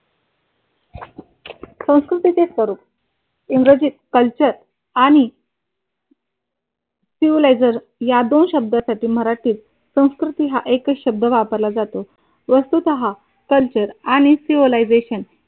संस्कृतीचे स्वरूप इंग्रजीत कल्चर आणि सिव्हिलियझर या दोन शब्दासाठी मराठीत संस्कृती हा एकच शब्द वापरला जातो. वस्तूचा कल्चर आणि शिवलायझेशन